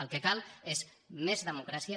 el que cal és més democràcia